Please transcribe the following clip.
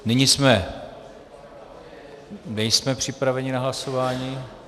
Nyní jsme... nejsme připraveni na hlasování.